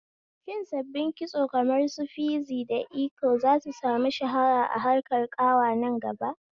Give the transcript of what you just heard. Shin sabbin kitso kamar su fizi da iko zasu samu shahara a harkar ƙawa nan gaba?